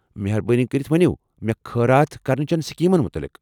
مہربٲنی کٔرتھ ؤنو مےٚ خٲرات کرنہٕ چٮ۪ن سکیٖمن متعلق ۔